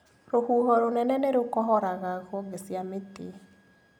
Rũhuho rũnene nĩrũkohoraga honge cia mĩtĩ.